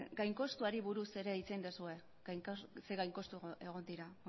gain kontuari buruz ere hitz egin duzue zein gain kostu egon dira